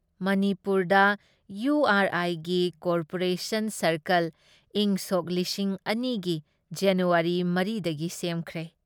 ꯃꯅꯤꯄꯨꯔꯗ EU R ꯑꯥꯏꯒꯤ cooperation circle ꯏꯪꯁꯣꯛ ꯂꯤꯁꯤꯡ ꯑꯅꯤ ꯒꯤ ꯖꯅꯨꯋꯥꯔꯤ ꯃꯔꯤ ꯗꯒꯤ ꯁꯦꯝꯈ꯭ꯔꯦ ꯫